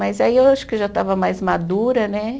Mas aí eu acho que eu já estava mais madura, né?